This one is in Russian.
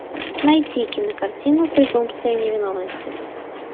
найти кинокартину презумпция невиновности